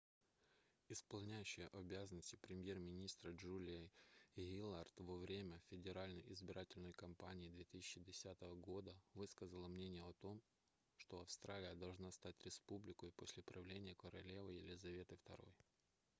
исполняющая обязанности премьер-министра джулия гиллард во время федеральной избирательной кампании 2010 года высказала мнение о том что австралия должна стать республикой после правления королевы елизаветы ii